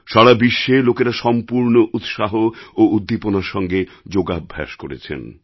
সারা বিশ্বে লোকেরা সম্পূর্ণ উৎসাহ ও উদ্দীপনার সঙ্গে যোগাভ্যাস করেছেন